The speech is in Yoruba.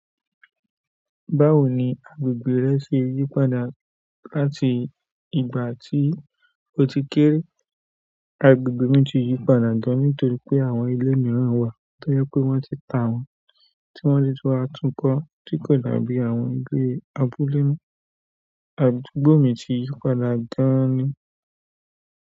Báwo ni àgbegbe rẹ ṣe yípadà láti ìgbà tí o ti kéré? Agbègbè mi ti yípadà gan ní torí pé àwọn ile míràn wá, tójẹ pé wón ti ta wọn tí wọ́n ti tún wá tún kọ́ tí kò dà bí àwọn ìle abúlé mo. Agbègbè mi ti yípadà gan ni.